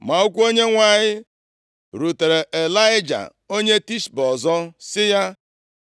Ma okwu Onyenwe anyị rutere Ịlaịja, onye Tishbe ọzọ, sị ya,